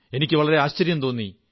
എനിക്ക് വളരെ ആശ്ചര്യം തോന്നി